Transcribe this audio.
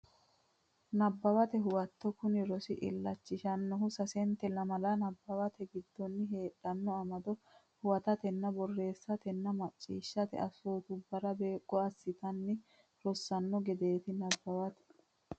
Nabbawate Huwato Kuni rosi illachishannohu sasente lamala nabbawatenni giddose heedhanno amado huwatatenna borreessatenna macciishshate assootubbara beeqqo assitanni rossanno gedeeti Nabbawate.